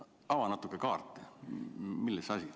Ava natuke kaarte, milles asi.